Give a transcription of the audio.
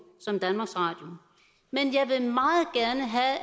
som danmarks radio men